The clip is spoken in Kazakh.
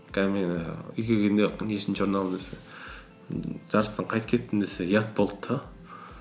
қазір мен ііі үйге келгенде нешінші орын алдың десе ммм жарыстан қайтып кеттім десем ұят болды да